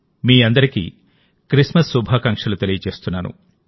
మీ అందరికీ క్రిస్మస్ శుభాకాంక్షలుతెలియజేస్తున్నాను